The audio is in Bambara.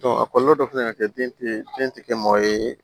a kɔlɔlɔ dɔ fɛnɛ bɛ kɛ den tɛ den tɛ kɛ maa ye